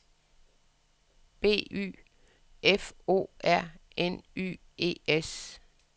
B Y F O R N Y E S